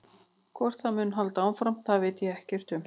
Hvort það muni halda áfram það veit ég ekkert um.